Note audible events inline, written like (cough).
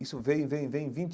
Isso vem, vem, vem. (unintelligible)